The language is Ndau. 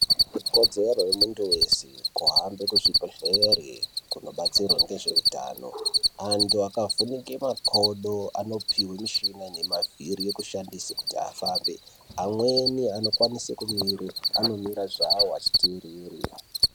Ikodzero yemuntu weshe kuhamba kuzvibhedhlera nekodzero yezvehutano antu akavhunika makodo anopihwa mushina yemavhiri yekushandisa Kuti afambe amweni anokwanisa kumira anira zvawo Achiterere.